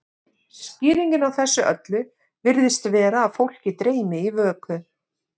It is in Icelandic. skýringin á þessu öllu virðist vera að fólk dreymi í vöku